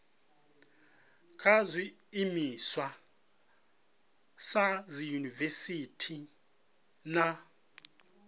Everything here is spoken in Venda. kha zwiimiswa sa dziyunivesiti na